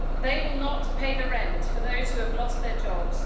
They will not pay the rent for those who have lost their jobs.